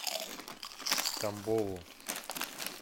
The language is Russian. тамбову